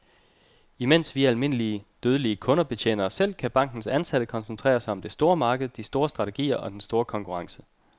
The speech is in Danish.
Imens vi almindelig, dødelige kunder betjener os selv, kan bankens ansatte koncentrere sig om det store marked, de store strategier og den store konkurrence.